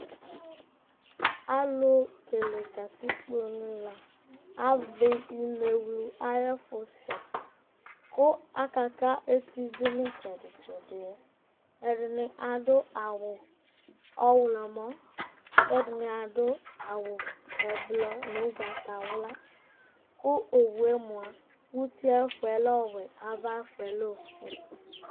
alu kele katikpo ni la avli inewlu ayɛfu sɛ, ku aka ka eti du nu itsɛdi tsɛdi, ɛdini adu awu ɔwlɔmɔ, ku ɛdini adu awu ɛblɔ nu ugbata wla ku owue mʋa uti ayɛfuɛ lɛ ɔwɛ ava ayɛfuɛ lɛ ofue